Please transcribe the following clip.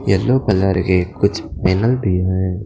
yellow colour के कुछ --